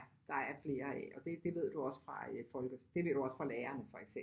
Der er flere af og det det ved du også fra øh folke det ved du også fra lærerne for eksempel